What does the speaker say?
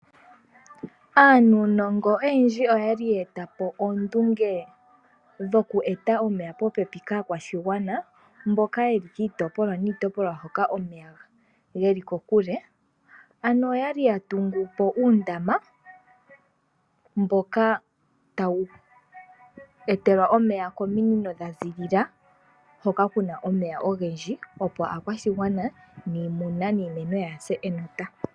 Aanuunongo oyendji oyali yeetapo oondunge dhoku eta omeya popepi kaakwashigwana mboka yeli kiitopolwa niitopolwa hoka omeya geli kokule. Ano oyali yatungupo uundama mboka tawu etelwa omeya kominino dhaziilila hoka kuna omeya ogendji opo aakwashigwa niimuna niimeno yaase enota.